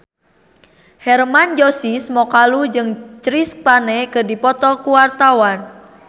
Hermann Josis Mokalu jeung Chris Pane keur dipoto ku wartawan